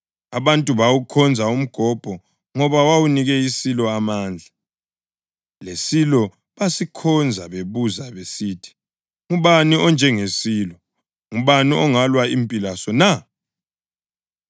Abantu bawukhonza umgobho ngoba wawunike isilo amandla, lesilo basikhonza bebuza besithi, “Ngubani onjengesilo? Ngubani ongalwa impi laso na?”